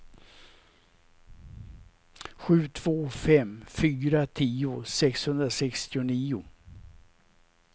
sju två fem fyra tio sexhundrasextionio